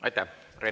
Aitäh!